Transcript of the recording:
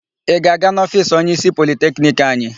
Ị ga-aga n'ofiisi onyeísí Politekniki anyị?